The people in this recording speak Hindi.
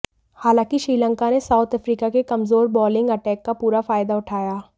हालांकि श्रीलंका ने साउथ अफ्रीका के कमजोर बॉलिंग अटैक का पूरा फायदा उठाया